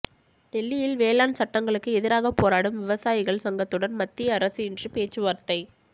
டெல்லியில் வேளாண் சட்டங்களுக்கு எதிராக போராடும் விவசாயிகள் சங்கத்துடன் மத்திய அரசு இன்று பேச்சுவார்த்தை